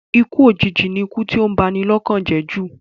Ikú òjìji ni ikú tí ó ń ba ni lọ́kàn jẹ́ jù